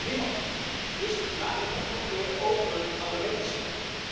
Niemand, dus laten we het ook over aan de wetenschap.